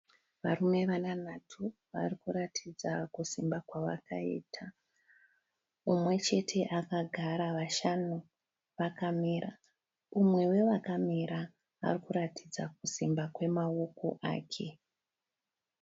Varume vanhanhatu varikuratidza kusimba kwavakaita. Umwe chete akagara vashanu vakamira. Umwe wevakamira arikuratidza kusimba kwemaoko ake.